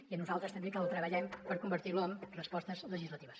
i a nosaltres també que el treballem per convertir lo amb respostes legislatives